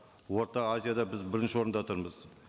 орта азияда біз бірінші орында тұрмыз